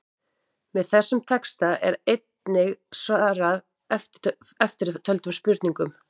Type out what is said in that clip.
Með þessum texta er einnig svarað eftirtöldum spurningum: